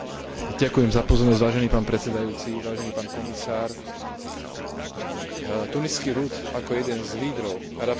Tuniský ľud ako jeden z lídrov arabskej jari dokázal zmiesť režim bin Allího a vybojovať si právo na lepší život.